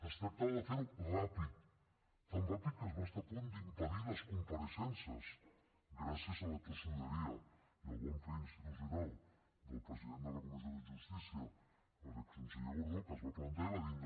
es tractava de fer ho ràpid tan ràpid que es va estar a punt d’impedir les compareixences gràcies a la tossuderia i al bon fer institucional del president de la comissió de justícia l’exconseller gordó que es va plantar i va dir no